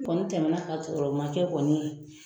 A Kɔni tɛmɛna ka sɔrɔ ma kɛ kɔni